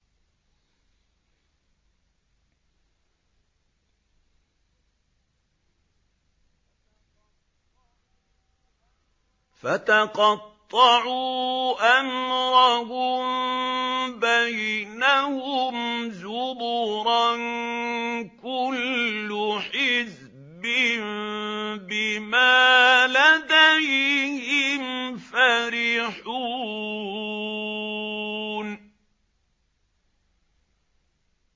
فَتَقَطَّعُوا أَمْرَهُم بَيْنَهُمْ زُبُرًا ۖ كُلُّ حِزْبٍ بِمَا لَدَيْهِمْ فَرِحُونَ